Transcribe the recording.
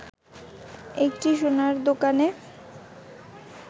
একটি সোনার দোকানে